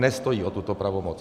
Nestojí o tuto pravomoc.